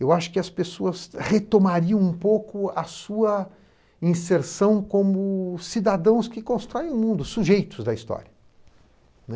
Eu acho que as pessoas retomariam um pouco a sua inserção como cidadãos que constroem o mundo, sujeitos da história, né.